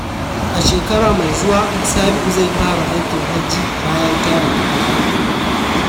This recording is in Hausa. A shekara mai zuwa, Sabiu zai fara aikin hajji bayan tara kudin.